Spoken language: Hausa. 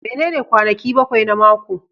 Menene kwanaki bakwai na mako?